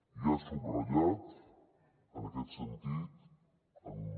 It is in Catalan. i ha subratllat en aquest sentit en un